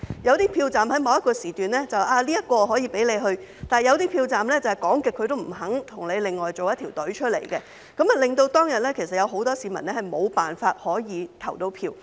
有些投票站在某個時段可以這樣做，但有些投票站卻怎樣也不肯安排另一條隊伍，令到當天很多市民無法投票。